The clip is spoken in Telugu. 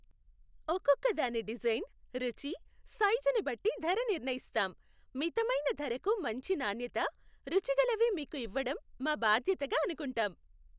ఒక్కొక్కదాని డిజైన్, రుచి, సైజుని బట్టి ధర నిర్ణయిస్తాం. మితమైన ధరకు మంచి నాణ్యత, రుచిగలవి మీకు ఇవ్వడం మా బాధ్యతగా అనుకుంటాం .